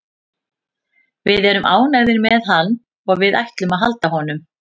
Við erum ánægðir með hann og við ætlum að halda honum.